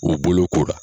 U bolokora